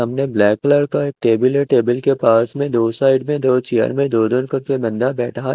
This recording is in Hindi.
सामने ब्लैक कलर का एक टेबल है टेबल के पास में दो साइड में चेयर में दो दूर करके बंदा बेठा है।